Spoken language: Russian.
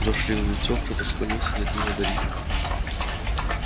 дождь лил в лицо кто-то склонился над ним одарив